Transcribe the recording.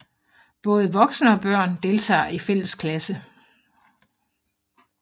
Både voksne og børn deltager i fælles klasse